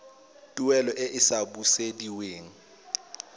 tuelo e e sa busediweng